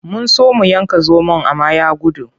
Mun so mu yanka zomon amma ya gudu.